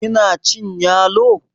kina cin yalo?